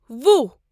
وُہ